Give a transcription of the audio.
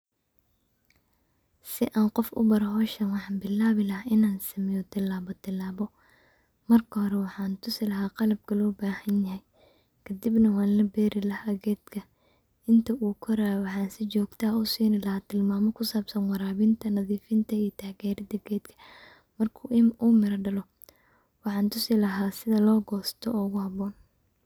Sii an qof ubaro howshan waxan sameyni laha tilabotilabo, marka hore waxan tusi laha sida lobero kadib wan laberi laha kadib waxan ushegi laha tilmamo kusabsan warawinta iyo nadifinta marku uu miro dalo waxan tusi laha sida loguro.